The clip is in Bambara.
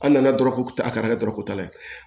An nana dɔrɔn ko a ka kɛ dɔrɔgutala ye